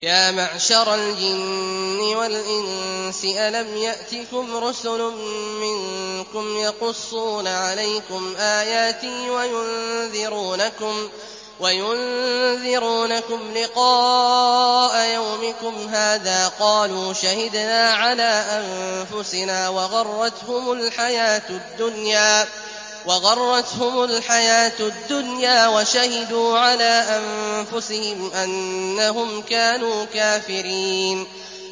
يَا مَعْشَرَ الْجِنِّ وَالْإِنسِ أَلَمْ يَأْتِكُمْ رُسُلٌ مِّنكُمْ يَقُصُّونَ عَلَيْكُمْ آيَاتِي وَيُنذِرُونَكُمْ لِقَاءَ يَوْمِكُمْ هَٰذَا ۚ قَالُوا شَهِدْنَا عَلَىٰ أَنفُسِنَا ۖ وَغَرَّتْهُمُ الْحَيَاةُ الدُّنْيَا وَشَهِدُوا عَلَىٰ أَنفُسِهِمْ أَنَّهُمْ كَانُوا كَافِرِينَ